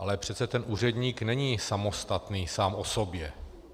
Ale přece ten úředník není samostatný sám o sobě.